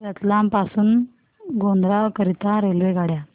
रतलाम पासून गोध्रा करीता रेल्वेगाड्या